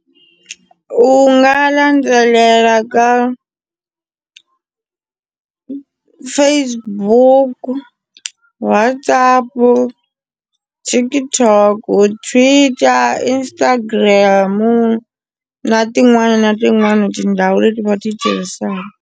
U nga landzelela ka Facebook, WhatsApp TikTok u Twitter Instagram na tin'wana na tin'wana tindhawu leti u nga ti tirhisaka.